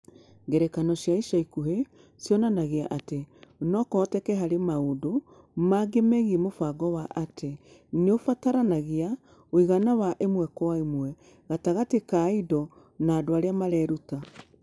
Ngerekano cia ica ikuhĩ cionanagia atĩ no kũhoteke harĩ maũndũ mangĩ megiĩ mũbango wa atĩ nĩ ũbataranagia ũigana wa 1:1 gatagatĩ ka indo na andũ arĩa mareruta.